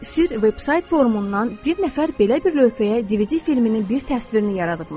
Sir veb-sayt forumundan bir nəfər belə bir lövhəyə DVD filminin bir təsvirini yaradıbmış.